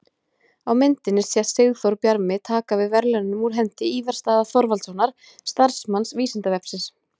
Á myndinni sést Sigþór Bjarmi taka við verðlaununum úr hendi Ívars Daða Þorvaldssonar, starfsmanns Vísindavefsins.